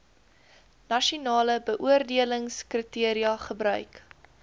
nasionale beoordelingskriteria gebruik